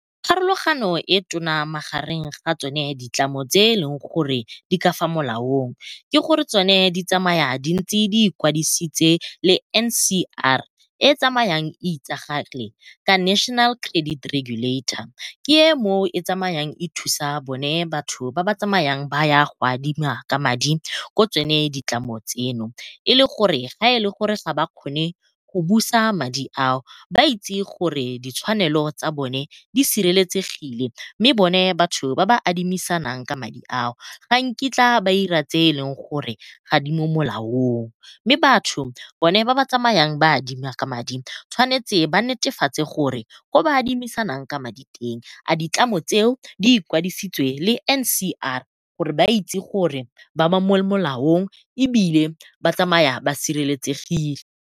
Pharologano e tona magareng ga tsone ditlamo tse e leng gore di ka fa molaong ke gore tsone di tsamaya di ntse di ikwadisitse le N_C_R e e tsamayang e itsagale ka National Credit Regulator ke e mo e tsamayang e thusa bone batho ba ba tsamayang ba ya go adima ka madi ko tsone ditlamo tseno. E le gore ga e le gore ga ba kgone go busa madi ao ba itse gore ditshwanelo tsa bone di sireletsegile. Mme bone batho ba ba adimisanang ka madi ao ga nkitla ba ira tse e leng gore ga di mo molaong. Mme batho bone ba ba tsamayang ba adima ka madi ba tshwanetse ba netefatse gore ko ba adimisanang ka madi teng a ditlamo tseo di ikwadisitse le N_C_R gore ba itse gore ba ba mo molaong ebile ba tsamaya ba sireletsegile.